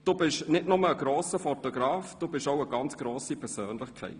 Du bist nicht nur ein grosser Fotograf, du bist auch eine ganz grosse Persönlichkeit.